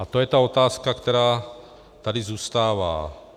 A to je ta otázka, která tady zůstává.